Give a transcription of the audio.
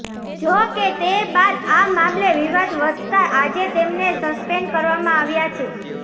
જો કે તે બાદ આ મામલે વિવાદ વધતા આજે તેમને સસ્પેન્ડ કરવામાં આવ્યા છે